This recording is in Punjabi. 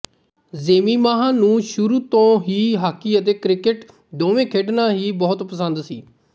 ਜੇਮੀਮਾਹ ਨੂੰ ਸ਼ੁਰੂ ਤੋਂ ਹੀ ਹਾਕੀ ਅਤੇ ਕ੍ਰਿਕਟ ਦੋਵੇਂ ਖੇਡਣਾ ਹੀ ਬਹੁਤ ਪਸੰਦ ਸੀ